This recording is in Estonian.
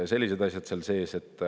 Sellised asjad seal sees.